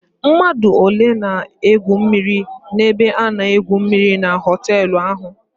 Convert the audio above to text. Mmadụ ole na-egwu mmịrị n'ebe a na-egwu mmịrị na họtelụ ahụ?